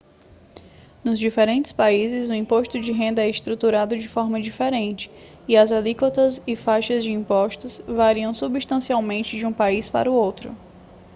nos diferentes países o imposto de renda é estruturado de forma diferente e as alíquotas e faixas de impostos variam substancialmente de um país para outro